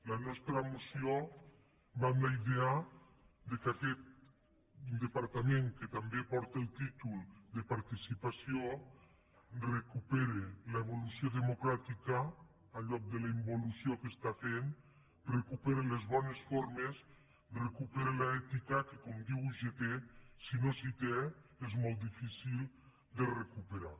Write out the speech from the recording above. la nostra moció va en la idea que aquest departament que també porta el títol de participació recuperi l’evolució democràtica en lloc de la involució que està fent recuperi les bones formes recuperi l’ètica que com diu ugt si no se’n té és molt difícil de recuperar